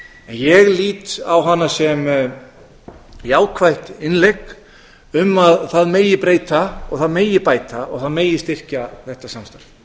ég lít á hana sem jákvætt innlegg um að það megi breyta og það megi bæta og það megi styrkja þetta samstarf